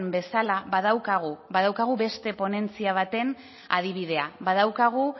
bezala badaukagu beste ponentzia baten adibidea badaukagu